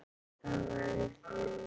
Það verður fjör.